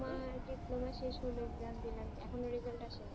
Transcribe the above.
কি করছো তোমার diploma শেষ হলো exam দিলাম এখনো result আসি নি